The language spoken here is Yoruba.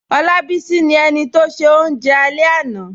Olábísí ni ènì tó ṣẹ̀ ọ̀unje alẹ̀ lánà